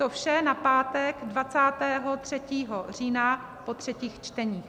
To vše na pátek 23. října po třetích čteních.